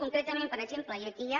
concretament per exemple i aquí hi ha